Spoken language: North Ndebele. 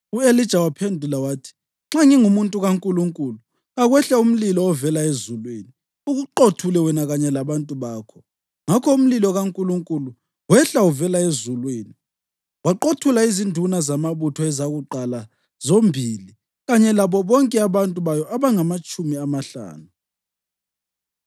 U-Elija waphendula wathi, “Nxa ngingumuntu kaNkulunkulu, kakwehle umlilo ovela ezulwini ukuqothule wena kanye labantu bakho!” Ngakho umlilo kaNkulunkulu wehla uvela ezulwini waqothula izinduna zamabutho ezakuqala zombili kanye labo bonke abantu bayo abangamatshumi amahlanu.